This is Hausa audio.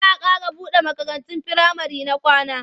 Za a ƙara buɗe makarantun firamare na kwana.